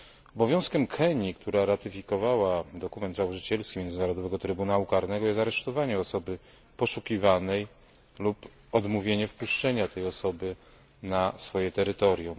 Obowiązkiem Kenii, która ratyfikowała dokument założycielski Międzynarodowego Trybunału Karnego, jest aresztowanie osoby poszukiwanej lub odmówienie wpuszczenia tej osoby na swoje terytorium.